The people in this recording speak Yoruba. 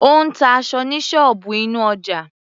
Ó ń ta aṣọ ní ṣọ́ọ̀bù inú ọjà.